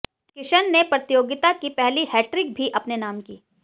किशन ने प्रतियोगिता की पहली हैट्रिक भी अपने नाम की